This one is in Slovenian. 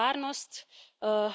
Kaj je zanje ključno?